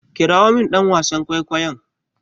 Kirawo min dan wasan kwaikwayon!